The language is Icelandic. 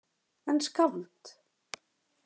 En skáld?